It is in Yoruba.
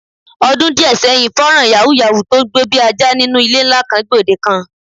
Odun díè̩ sé̩yìn, fó̩nrán yàwúù-yàwúù tó ń gbó bí ajá nínú ilé ńlá kan, gbòdekan.